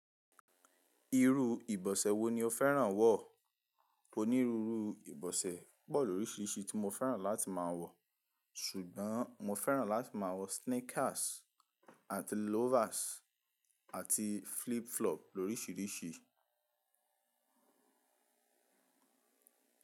Irú ìbọ̀sẹ̀ wo ni o fẹ́ràn wọ̀? Oní ruru ìbọ̀sẹ̀ pọ̀ lóríṣiríṣi tí mo fẹ́ràn láti máa wọ̀, ṣùgbọ́n mo fẹ́ràn láti máa wọ sneakers àti loafers àti flip flop lóríṣiríṣi.